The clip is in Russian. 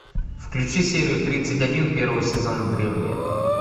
включи серию тридцать один первого сезона древние